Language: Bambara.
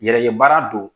Yɛrɛye baara don